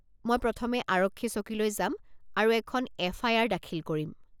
মই প্ৰথমে আৰক্ষী চকীলৈ যাম আৰু এখন এফ.আই.আৰ. দাখিল কৰিম।